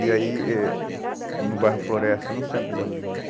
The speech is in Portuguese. E aí, eh no bairro Floresta, no centro de Belo Horizonte.